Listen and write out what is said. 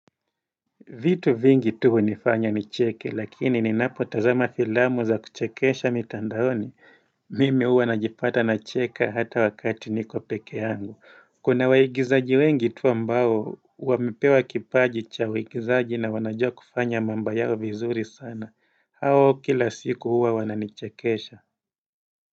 Vitu vingi tu hunifanya nicheke lakini ninapo tazama filamu za kuchekesha mitandaoni mimi huwa najipata nacheke hata wakati niko peke yangu kuna waigizaji wengi tu ambao wamepewa kipaji cha uigizaji na wanajua kufanya mambo yao vizuri sana hao kila siku huwa wananichekesha.